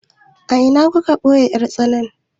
A ina kuka ajiye 'yar tsanan?